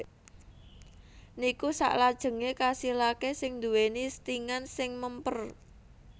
Niku saklajengé kasilaké sing dhuwèni stingan sing mèmper